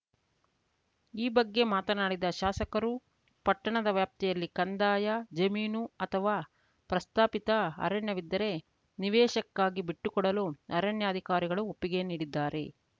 ಈ ಬಗ್ಗೆ ಮಾತನಾಡಿದ ಶಾಸಕರು ಪಟ್ಟಣದ ವ್ಯಾಪ್ತಿಯಲ್ಲಿ ಕಂದಾಯ ಜಮೀನು ಅಥವಾ ಪ್ರಸ್ತಾಪಿತ ಅರಣ್ಯವಿದ್ದರೆ ನಿವೇಶಕ್ಕಾಗಿ ಬಿಟ್ಟುಕೊಡಲು ಅರಣ್ಯ ಅಧಿಕಾರಿಗಳು ಒಪ್ಪಿಗೆ ನೀಡಿದ್ದಾರೆ